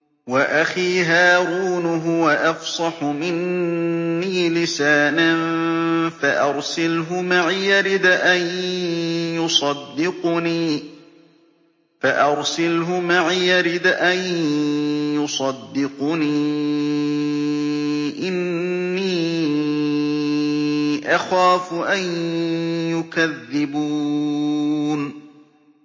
وَأَخِي هَارُونُ هُوَ أَفْصَحُ مِنِّي لِسَانًا فَأَرْسِلْهُ مَعِيَ رِدْءًا يُصَدِّقُنِي ۖ إِنِّي أَخَافُ أَن يُكَذِّبُونِ